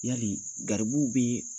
Yali garibuw bɛ